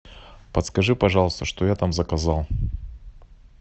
подскажи пожалуйста что я там заказал